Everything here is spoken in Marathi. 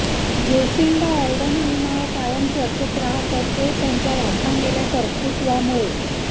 जेसिंडा ऑर्डन हे नाव कायम चर्चेत राहतं ते त्यांच्या वाखाणलेल्या कर्तृत्वामुळे